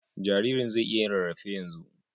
Jaririn zai iya yin rarrafe yanzu.